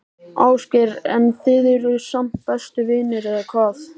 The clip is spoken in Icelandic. Ásgeir: En þið eruð samt bestu vinir, eða hvað?